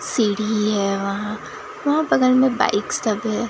सीढ़ी है वहां वहां पता नहीं बाइक्स